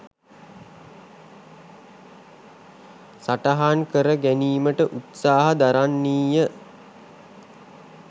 සටහන් කර ගැනීමට උත්සාහ දරන්නීය.